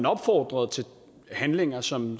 opfordrede til handlinger som